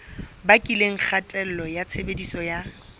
bakileng kgatello ya tshebediso ya